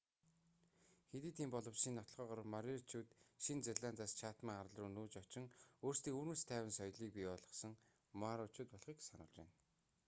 хэдий тийм боловч шинэ нотолгоогоор мориоричууд нь шинэ зеландаас чатман арал руу нүүж очин өөрсдийн өвөрмөц тайван соёлийг бий болгосон мауричууд болохыг сануулж байна